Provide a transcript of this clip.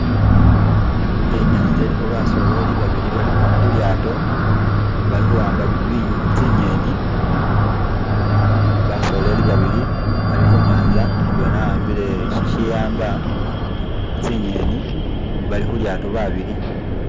inyanza iliho basoleli babili balihulyato balihuwamba tsinyeni mutwela ahambile shishiyamba tsinyeni balihulyato babili